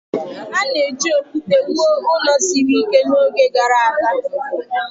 A na-eji okwute wuo ụlọ siri ike n'oge gara aga